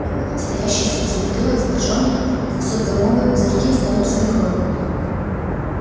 я вынул стоящие среди бутылок с боржоми двухсотграммовые пузырьки с донорской кровью